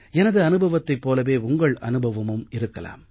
எனது அனுபவத்தைப் போலவே உங்கள் அனுபவமும் இருக்கலாம்